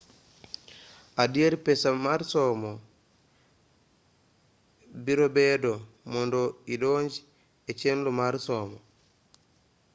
adiera pesa somo birobedo mondo idonj echenro mar somo